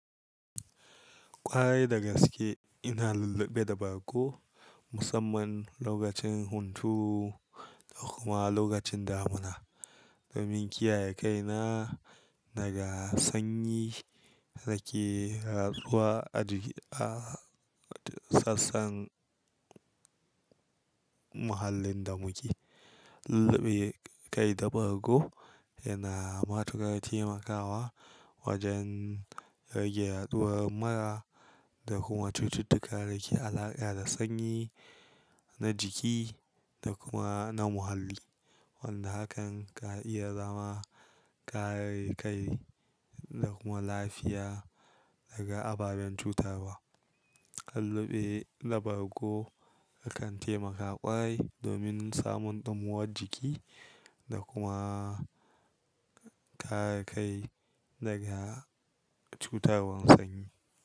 Kwarai da gaske ina lulluɓe da bargo musamman lokacin huntu da kuma lokacin damuna domin kiyaye kaina daga sanyi da ke yaɗuwa a, sassan, muhallin da muke. Lulluɓe kai da bargo yana matukar taimakawa wajen rage yaɗuwar murra da kuma cututtuka da ke alaƙa da sanyi na jiki da kuma na muhalli. Wanda hakan ka iya zama kare kai da kuma lafiya daga ababen cutarwa. Kan lulluɓe da bargo yakan taimaka ƙawai domin samun ɗumuwar jiki da kuma kare kai daga cutarwan sanyi.